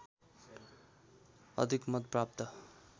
अधिक मत प्राप्त